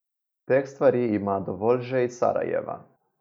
Teh stvari ima dovolj že iz Sarajeva.